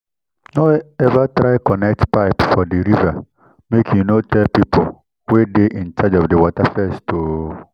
no ever try connect pipe for di river make you no tell people wey dey in charge of di water first o